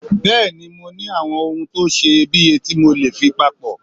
Bẹ́ẹ̀ni mo ní àwọn ohun tó seye bíye tí mọ́lè fi papọ́